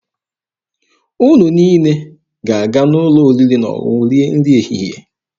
Unu niile ga-aga n'ụlọ oriri na ọṅụṅụ rie nri ehihie.